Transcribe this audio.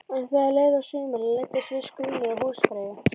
En þegar leið á sumarið læddist viss grunur að húsfreyju.